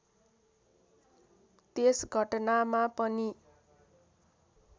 त्यस घटनामा पनि